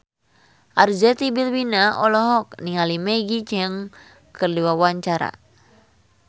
Arzetti Bilbina olohok ningali Maggie Cheung keur diwawancara